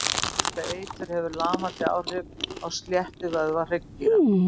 Þetta eitur hefur lamandi áhrif á slétta vöðva hryggdýra.